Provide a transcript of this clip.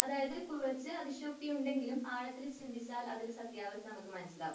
അതായത് കുറച്ച് അതിശയോക്തി ഉണ്ടെങ്കിലും ആഴത്തിൽ ചിന്തിച്ചാൽ അതിന്റെ സത്യാവസ്ഥ നമുക്ക് മനസ്സിലാകും.